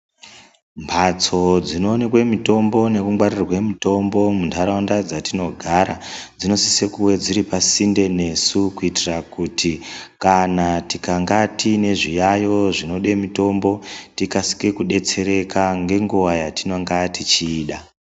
Mhatso dzino onekwe mitombo nekungwarirwe mitombo munharaunda dzatinogara dzinosise kuve dziri pasinde nesu kuitira kuti kana tikanga tiine zviyayo zvinode mitombo tikasike kudetsereka ngenguwa yatinonga techiida.